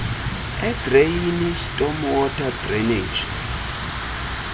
edreyini stormwater drainage